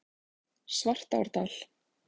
Svartárdal